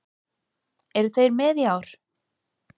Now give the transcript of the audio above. Eru þeir með í ár?